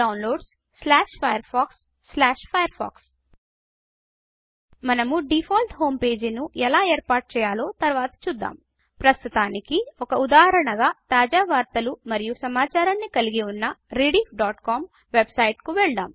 Downloadsfirefoxfirefox మనము default home page ను ఎలా ఏర్పాటు చేయాలో తర్వాత చూదాం ప్రస్తుతానికి ఒక ఉదాహరణగా తాజా వార్తలు మరియు సమాచారాన్ని కలిగి ఉన్న rediffకామ్ వెబ్సైట్ కు వెళ్దాం